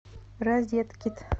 розеткит